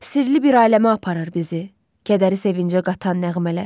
Sirli bir aləmə aparır bizi, kədəri sevincə qatan nəğmələr.